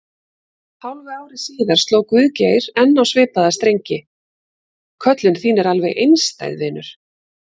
Hálfu ári síðar sló Guðgeir enn á svipaða strengi: Köllun þín er alveg einstæð, vinur.